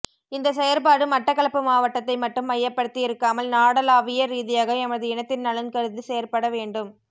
இந்த செயற்பாடு மட்டக்களப்பு மாவட்டத்தை மட்டும் மையப்படுத்தி இருக்காமல் நாடளாவிய ரீதியாக எமது இனத்தின் நலன் கருதி செயற்பட வேண்டும்